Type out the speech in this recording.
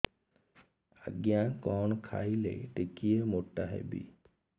ଆଜ୍ଞା କଣ୍ ଖାଇଲେ ଟିକିଏ ମୋଟା ହେବି